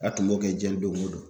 A tun b'o kɛ diɲɛ don o don